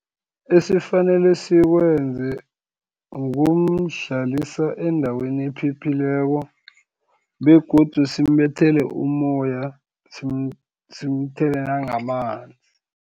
Esifanele sikwenze, ukumhlalisa endaweni ephephileko, begodu simbethele umoya simthele nangamanzi.